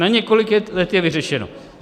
Na několik let je vyřešeno.